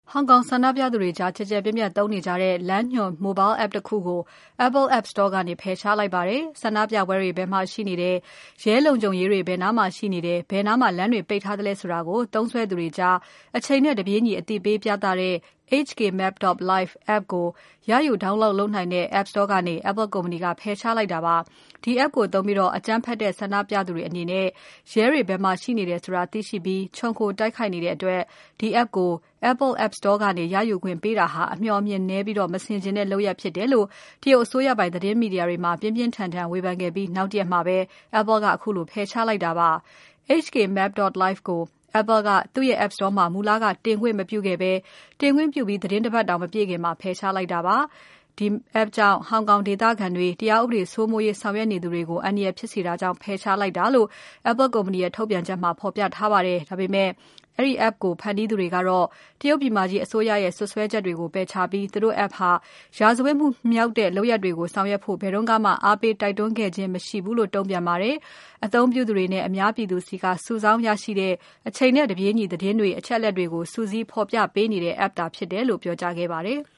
ဟောင်ကောင်ဆန္ဒပြသူတွေကြား ကျယ်ကျယ်ပြန့်ပြန့်သုံးနေကြတဲ့ လမ်းညွှန် Mobile app တခုကို Apple app store ကနေ ဖယ်ရှားလိုက်ပါတယ်။ ဆန္ဒပြပွဲတွေ ဘယ်မှာ ရှိနေတယ်။ ရဲလုံခြုံရေးတွေ ဘယ်နားမှာ ရှိနေတယ်။ ဘယ်နားမှာ လမ်းတွေ ပိတ်ထားတယ်ဆိုတာကို သုံးစွဲသူတွေကြား အချိန်နဲ့တပြေးညီ အသိပေးပြသတဲ့ HKmap.live app တွေကို ရယူ download လုပ်နိုင်တဲ့ app store ကနေ Apple ကုမ္ပဏီက ဖယ်ရှားလိုက်တာပါ။ ဒီ app ကိုသုံးပြီး အကြမ်းဖက်တဲ့ ဆန္ဒပြသူတွေအနေနဲ့ ရဲတွေ ဘယ်မှာရှိနေတယ်ဆိုတာ သိရှိပြီး ခြုံခိုတိုက်ခိုက်နေတဲ့အတွက် ဒီ app ကို Apple app store ကနေ ရယူခွင့်ပေးတာဟာ အမျှော်အမြင်နည်းပြီး မဆင်ခြင်တဲ့ လုပ်ရပ်ဖြစ်လို့ တရုတ်အစိုးရပိုင် သတင်းမီဒီယာမှာ ပြင်းပြင်းထန်ထန် ဝေဖန်ခဲ့ပြီး နောက်တရက်မှာ Apple ကခုလို ဖယ်ရှားလိုက်တာ ဖြစ်ပါတယ်။ HKmap.live ကို Apple က သူ့ရဲ့ App store မှာ မူလက တင်ခွင့်မပြုခဲ့ဘဲ တင်ခွင့်ပြုပြီး သီတင်း ၁ ပတ်တောင် မပြည့်ခင်မှာ ဖယ်ရှားလိုက်တာပါ။ HKmap.live app ကြောင့် ဟောင်ကောင်ဒေသခံတွေ၊ တရားဥပဒေစိုးမိုးရေး ဆောင်ရွက်နေသူတွေကို အန္တရာယ်ဖြစ်စေတာကြောင့် ဖယ်ရှားလိုက်တာလို့ Apple ကုမ္ပဏီရဲ့ ထုတ်ပြန်ချက်မှာ ဖော်ပြထားပါတယ်။ ဒါပေမဲ့ ဒီ app ကို ဖန်တီးသူတွေကတော့ တရုတ်ပြည်မကြီးအစိုးရရဲ့ စွပ်စွဲချက်ကို ပယ်ချခဲ့ပြီး သူတို့ app ဟာ ရာဇဝတ်မှုမြောက်တဲ့ လုပ်ရပ်တွေကို လုပ်ဆောင်ဖို့ ဘယ်တုန်းကမှ အားပေး တိုက်တွန်းခဲ့ခြင်းမရှိဘူးလို့ တုံ့ပြန်ခဲ့ပါတယ်။ အသုံးပြုသူတွေနဲ့ အများပြည်သူဆီက စုဆောင်းရရှိတဲ့ အချိန်နဲ့တပြေးညီ သတင်းတွေ၊ အချက်အလက်တွေကို စုစည်းဖော်ပြပေးနေတဲ့ App သာဖြစ်တယ်လို့ ပြောကြားခဲ့ပါတယ်။